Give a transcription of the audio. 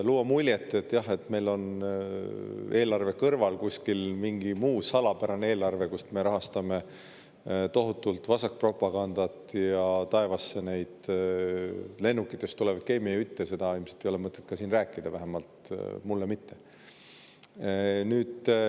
Luua muljet ja rääkida seda juttu, nagu meil oleks eelarve kõrval kuskil mingi muu salapärane eelarve, kust me tohutult rahastame vasakpropagandat ja neid lennukitest taevasse tekkivaid keemiajutte, ei ole siin ilmselt mõtet, vähemalt mulle mitte.